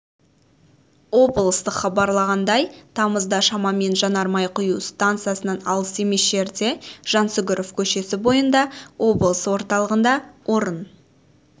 облыстық хабарлағандай тамызда шамамен жанармай құю стансасынан алыс емес жерде жансүгіров көшесі бойында облыс орталығында орын